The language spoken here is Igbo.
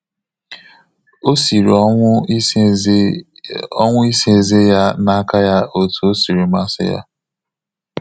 Ọ sịrị ọnwụ isa eze ọnwụ isa eze ya na aka ya otú ọ sịrị masị ya.